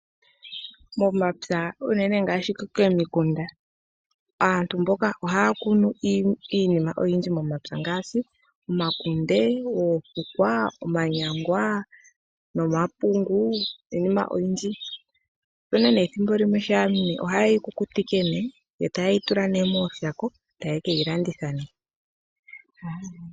Momapya unene ngaashi komikunda aantu ohaya kunu iinima oyindji momapya ngaashi omakunde , oofukwa, omanyangwa nomapungu niinima oyindji. Opuna nee ethimbo limwe haye yi kukutike nee eta ye yi tula mooshako eta ye keyi landitha nee.